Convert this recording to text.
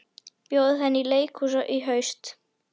Bjóða henni í leikhús í haust.